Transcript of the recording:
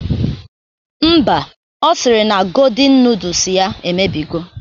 Mba, ọ sịrị na godin nudus ya emebigo